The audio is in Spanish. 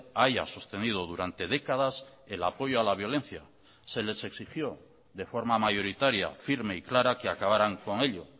haya sostenido durante décadas el apoyo a la violencia se les exigió de forma mayoritaria firme y clara que acabarán con ello